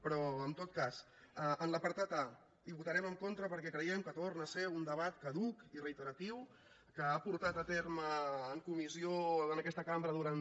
però en tot cas en l’apartat a votarem en contra perquè creiem que torna a ser un debat caduc i reiteratiu que ha portat a terme en comissió en aquesta cambra durant